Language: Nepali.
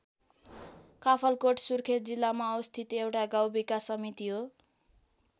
काफलकोट सुर्खेत जिल्लामा अवस्थित एउटा गाउँ विकास समिति हो।